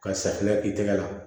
Ka safunɛ i tɛgɛ la